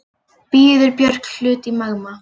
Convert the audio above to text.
Býður Björk hlut í Magma